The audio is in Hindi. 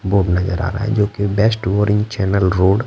बोर्ड नज़र आ रहा है जोकि चैनेल रोड --